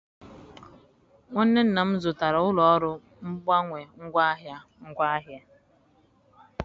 nwanne nna m zụtara ụlọ ọrụ mgbanwe ngwaahịa ngwaahịa.